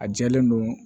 A jɛlen don